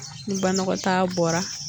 Ni banɔgɔtaa bɔra.